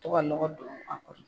Tɔ ka lɔgɔ don a kɔrɔ.